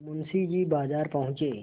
मुंशी जी बाजार पहुँचे